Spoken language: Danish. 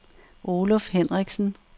Oluf Hendriksen